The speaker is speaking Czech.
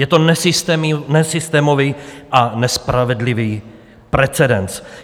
Je to nesystémový a nespravedlivý precedens.